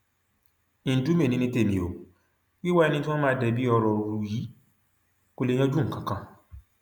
ńdùmẹ ni ní tèmi ò wíwá ẹni tí wọn máa débi ọrọ rú yìí kó lè yanjú nǹkan kan